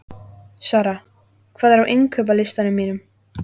Sara, hvað er á innkaupalistanum mínum?